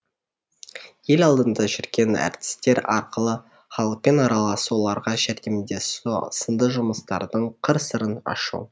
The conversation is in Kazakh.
ел алдында жүрген әртістер арқылы халықпен араласу оларға жәрдемдесу сынды жұмыстардың қыр сырын ашу